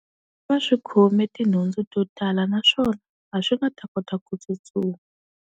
Va swi khome tinhundzu to tala naswona, a swi nga ta kota ku tsutsuma.